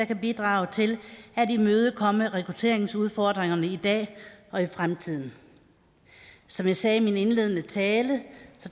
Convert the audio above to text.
kan bidrage til at imødekomme rekrutteringsudfordringerne i dag og i fremtiden som jeg sagde i min indledende tale